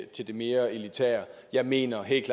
til det mere elitære jeg mener helt